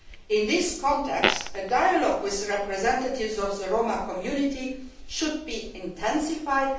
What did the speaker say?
In that context, dialogue with representatives of the Roma community should be intensified.